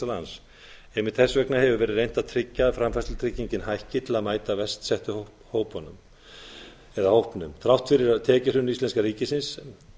lands einmitt þess vegna hefur verið reynt að tryggja að framfærslutryggingin hækki til að mæta verst setta hópnum þrátt fyrir tekjuhrun íslenska ríkisins